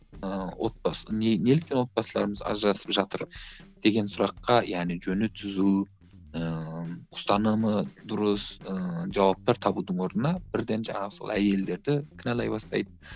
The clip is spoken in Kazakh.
ыыы отбасын неліктен отбасыларымыз ажырасып жатыр деген сұраққа яғни жөні түзу ыыы ұстанымы дұрыс ыыы жауаптар табудың орнына бірден жаңағы сол әйелдерді кінәлай бастайды